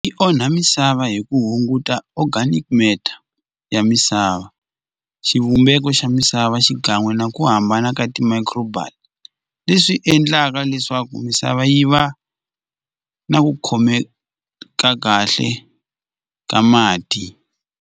Yi onha misava hi ku hunguta organic matter ya misava xivumbeko xa misava xikan'we na ku hambana ka ti-micro bile leswi endlaka leswaku misava yi va na ku khomeka kahle ka mati.